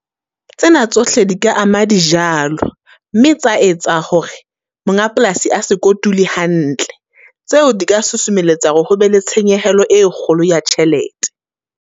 Tsena tsohle di ka ama dijalo, mme tsa etsa hore monga polasi a se kotule hantle. Tseo di ka susumelletsa hore ho be le tshenyehelo e kgolo ya tjhelete.